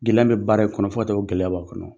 Gɛlɛya bɛ baara in kɔnɔ fɔ ka t'a gɛlɛya b'a kɔnɔ.